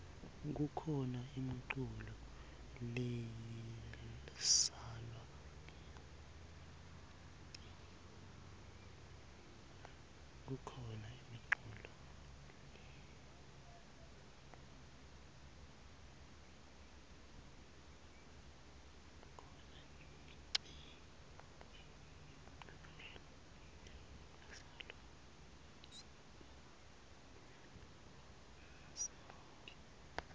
kukhano imiculo leislalwa ngetnsimbi